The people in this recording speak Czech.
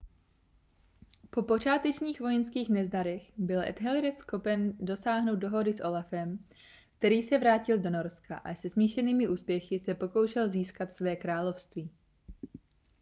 po počátečních vojenských nezdarech byl ethelred schopen dosáhnout dohody s olafem který se vrátil do norska a se smíšenými úspěchy se pokoušel získat své království